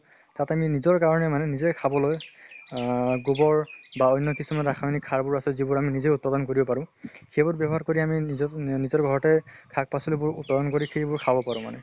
তাতে নি নিজৰ কাৰণে মানে খাবলৈ আহ গুবৰ বা অন্য় কিছুমান ৰাসায়্নিক সাৰ বোৰ আছে যি বোৰ আমি নিজে উৎপাদন কৰিব পাৰো। সেইবোৰ ব্য়ৱ্হাৰ কৰি আমি নিজক নিজৰ ঘৰতে শাক পাচলী বোৰ উৎপাদকন কৰি সেইবোৰ খাব পাৰো মানে।